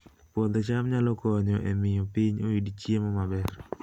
Puodho cham nyalo konyo e miyo piny oyud chiemo maber